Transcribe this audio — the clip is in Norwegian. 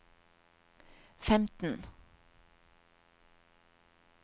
femten